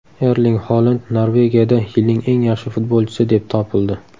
Erling Holand Norvegiyada yilning eng yaxshi futbolchisi deb topildi.